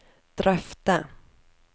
drøfte